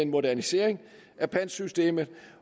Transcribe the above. modernisering af pantsystemet